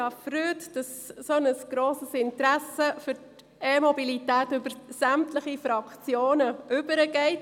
Ich freue mich, dass ein so grosses Interesse an der E-Mobilität über sämtliche Fraktionen hinweg besteht.